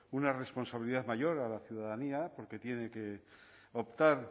una responsabilidad mayor a la ciudadanía porque tiene que optar